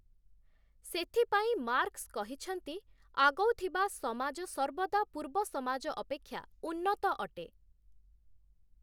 ସେଥିପାଇଁ ମାର୍କସ କହିଛନ୍ତି ଆଗଉଥିବା ସମାଜ ସର୍ବଦା ପୂର୍ବ ସମାଜ ଅପେକ୍ଷା ଉନ୍ନତ ଅଟେ ।